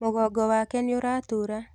Mũgongo wake nĩũratura.